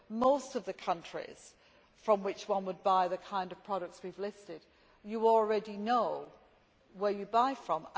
For most of the countries from which one would buy the kind of products we have listed, you already know where you buy from.